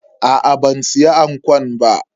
Aa ban siya ankon ba.